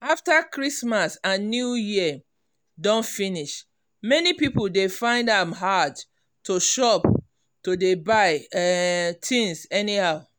after christmas and new year don finish many people dey find am hard to chop to dey buy um tins anyhow.